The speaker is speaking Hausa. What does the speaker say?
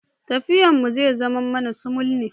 Tafiyan mu zai zama mai sumul ne.